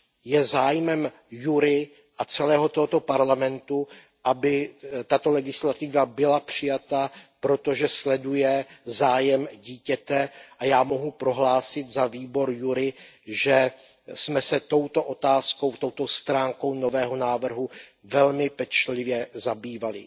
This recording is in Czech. Je zájmem JURI a celého tohoto Parlamentu, aby tato legislativa byla přijata, protože sleduje zájem dítěte, a já mohu prohlásit za výbor JURI, že jsme se touto otázkou, touto stránkou nového návrhu velmi pečlivě zabývali.